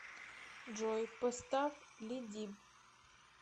джой поставь ле диб